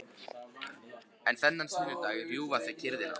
En þennan sunnudag rjúfa þau kyrrðina.